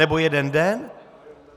Nebo jeden den?